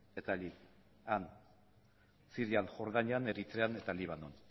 eta allí han sirian jordanian eritrean eta libanon